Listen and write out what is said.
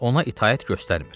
ona itaət göstərmir.